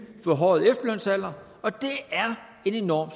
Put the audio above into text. forhøjede efterlønsalder og det er en enorm